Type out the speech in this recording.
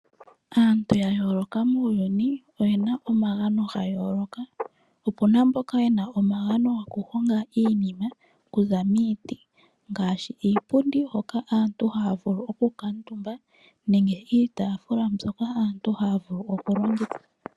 Aantu ya yooloka muuyuni oyena omagano ga yooloka. Opuna mboka yena omagano gokuhonga iinima kuza miiti ngaashi iipundi hoka aantu haya vulu okukuutumba nenge iitaafula mbyoka aantu haya vulu okulongitha.